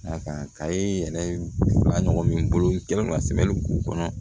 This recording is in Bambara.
A kan ka ye yɛrɛ ba ɲɔgɔn min bolo n kɛlen ka sɛmɛni k'u kɔnɔ